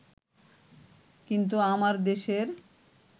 কিন্তু আমার দেশের